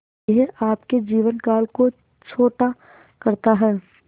यह आपके जीवन काल को छोटा करता है